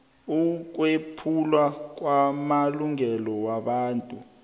ukwephulwa kwamalungelo wobuntu